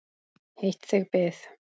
Heitt þig bið!